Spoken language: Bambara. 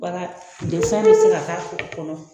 Baara bɛ se ka k'a kɔnɔ